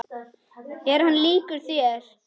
Er hann líkur þér?